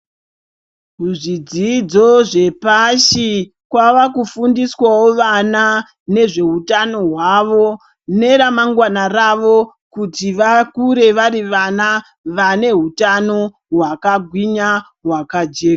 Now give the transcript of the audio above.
Muzvidzidzo zvepashi kwavakufundiswawo vana nezveutano hwavo neramangwana ravo kuti vakure vari vana vane hutano hwakagwinya hwakajeka.